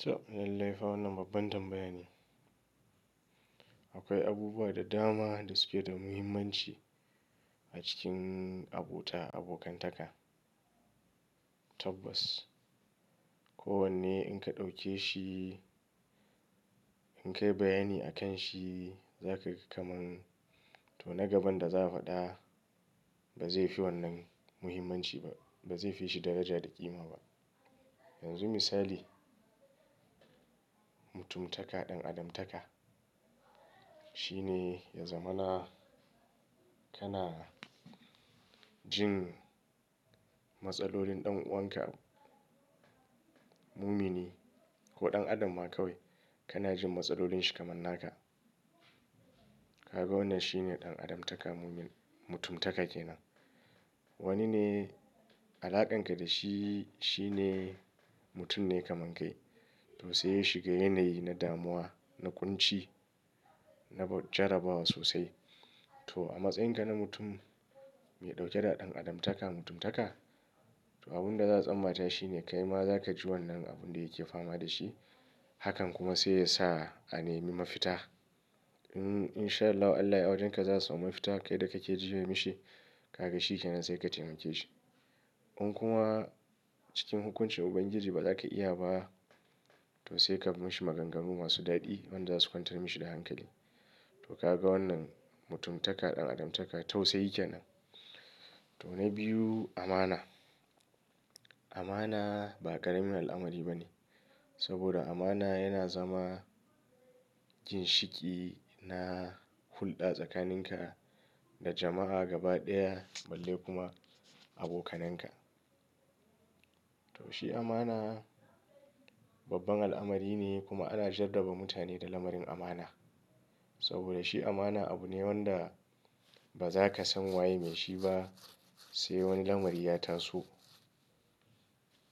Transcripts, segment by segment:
To, lallai fa wannan babban tambaya ne. Akwai abubuwa da dama da suke da muhimmanci a cikin abota abokantaka. Tabbas kowanne in ka ɗauke shi, in ka yi bayani akan shi, za kaga kaman to na gaban da za a faɗa ba zai fi wannan muhimmanci ba, ba zai fi shi daraja da ƙima ba. Yanzu misali, mutumtaka ɗan adamtaka. Shi ne ya zamana kana jin matsalolin ɗan uwan ka, mumini ko ɗan adam ma kawai kana jin matsalolin shi kamar naka. Kaga wannan shine ɗan adamtaka mutumtaka kenan. Wani ne alaƙan ka da shi, shi ne mutum ne kaman kai to sai ya shiga yanayi na damuwa, na ƙunci, na jarabawa sosai. To a matsayin ka na mutum mai ɗauke da ɗan adamtaka mutumtaka, to abin da za a tsammata shi ne kai ma za ka ji wannan abun da yake fama da shi. Hakan kuma sai ya sa a nemi mafita. In sha Allah, Allah ya wajen ka za su samu mafita kai da kake jiye mishi. Kaga shi kenan sai ka taimake shi. In kuma cikin hukuncin Ubangiji ba za ka iya ba to sai ka mishi maganganu masu daɗi wanda za su kwantar mishi da hankali. To ka ga wannan mutumtaka ɗan adamtaka tausayi kenan. To na biyu amana. Amana ba ƙaramin al'amari ba ne. Saboda amana yana zama ginshiki na hulɗa tsakanin ka da jama'a gaba ɗaya balle kuma abokanen ka. To shi amana babban al'amari ne kuma ana jaddaba mutane da lamarin amana. Saboda shi amana abu ne wanda ba za ka san wa yayi mai shi ba sai wani lamari ya taso.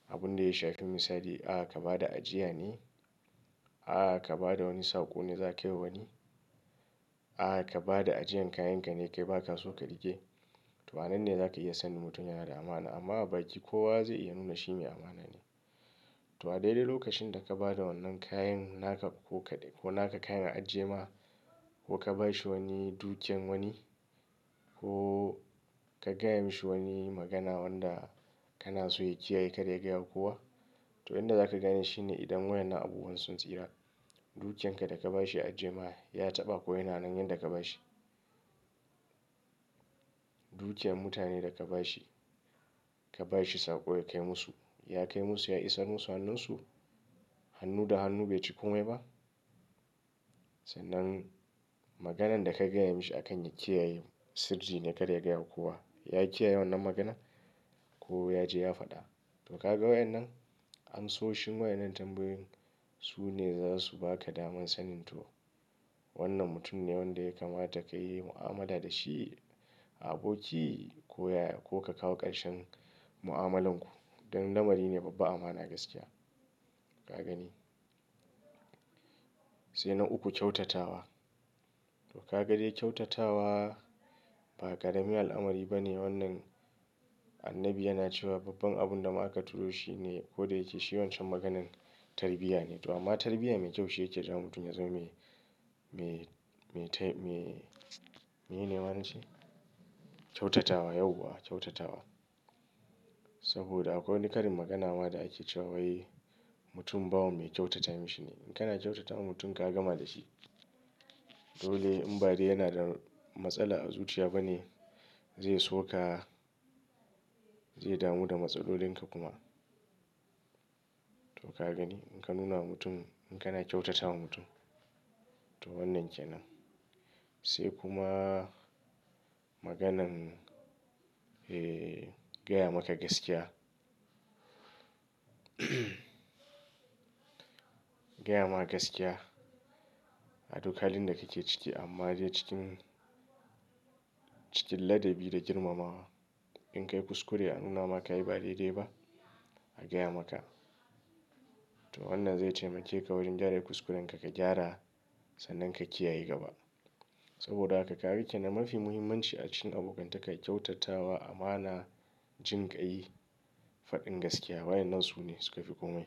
Abun da ya shafi misali, a ka ba da ajiya ne, a ka ba da wani saƙo ne za a kai wa wani, a ka ba da ajiyan kayan ka ne ya kai baka so ka rike. To anan ne za ka iya sanin mutum yana da amana amma baki kowa zai iya nuna shi me amana ne. To a daidai lokacin da ka ba da wannan kayan naka ko naka kayan ajiye ma ko ka ba shi wani dukiyan wani ko ka gaya mashi wani magana wanda kana so ya kiyaye kada ya gaya wa kowa. To inda za ka gane shi ne idan wayannan abubuwan sun tsira. Dukiyan ka da ka ba shi ya ajiye ma ya taɓa ko yana nan yanda ka ba shi. Dukiyan mutane da ka ba shi, ka ba shi saƙo ya kai musu, ya kai musu ya isar musu hannunsu. Hannu da hannu bai ci komai ba. Sannan maganan da ka gaya mishi akan ya kiyaye sirri ne kada ya gaya wa kowa. Ya kiyaye wannan magana ko ya je ya faɗa. To ka ga wayannan? Amsoshin wayannan tambayoyin su ne za su ba ka daman sanin to wannan mutum ne wanda ya kamata ka yi mu'amala da shi a aboki ko yaya ko ka kawo ƙarshen mu'amalanku. Don lamari ne babba amana gaskiya. Ka gani. Sai na uku kyautatawa. To ka ga dai kyautatawa ba ƙaramin al'amari ba ne wannan Annabi yana cewa babban abun da ma aka turo shi ne ko da yake shine kodayake shi wancen maganan tarbiyya ne. To amma tarbiyya mai kyau shi yake ja mutum yanzu me, me, me, me, meye ne ma na ce? Kyautatawa yauwa kyautatawa. Saboda akwai wani ƙarin magana ma da ake cewa wai mutum bawa mai kyautata mishi ne. In kana kyautata wa mutum ka gama da shi. Dole in ba dai yana da matsala a zuciya ba ne, zai so ka, zai damu da matsalolin ka kuma. To ka gani in ka nuna wa mutum, in kana kyautatawa mutum to wannan kenan. Sai kuma maganan, eh, gaya maka gaskiya. Gaya maka gaskiya a duk halin da kake ciki amma dai cikin, cikin ladabi da girmamawa. In kai kuskure a nuna maka yi ba daidai ba, a gaya maka. To wannan zai taimake ka wurin gyara kuskuren ka, ka gyara sannan ka kiyaye gaba. Saboda haka kaga kenan mafi muhimmanci a cikin abokantaka kyautatawa, amana, jin kai faɗin gaskiya. Wayannan su ne suka fi komai.